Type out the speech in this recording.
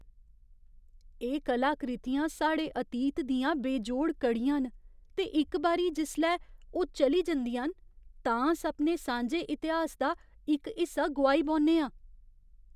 एह् कलाकृतियां साढ़े अतीत दियां बेजोड़ कड़ियां न, ते इक बारी जिसलै ओह् चली जंदियां न, तां अस अपने सांझे इतिहास दा इक हिस्सा गोआई बौह्न्ने आं।